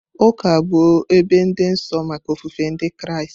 Ụka bụ ebe dị nsọ maka ofufe Ndị Kraịst.